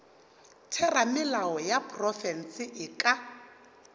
theramelao ya profense e ka